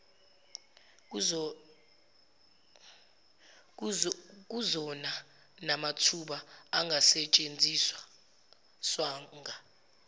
kuzona namathuba angasetshenziswanga